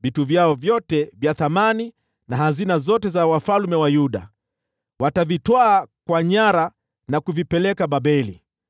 vitu vyao vyote vya thamani, na hazina zote za wafalme wa Yuda. Watavitwaa kwa nyara na kuvipeleka Babeli.